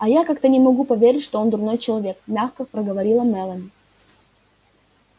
а я как-то не могу поверить что он дурной человек мягко проговорила мэлани